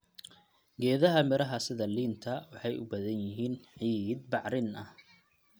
Geedaha miraha sida liinta waxay u baahan yihiin ciid bacrin ah.